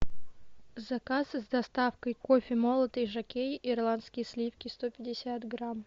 заказы с доставкой кофе молотый жокей ирландские сливки сто пятьдесят грамм